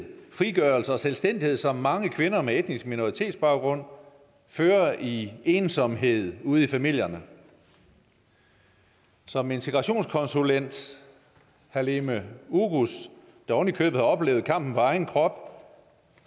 frigørelse og selvstændighed som mange kvinder med etnisk minoritetsbaggrund fører i ensomhed ude i familierne som integrationskonsulent halime oguz der ovenikøbet har oplevet kampen på egen krop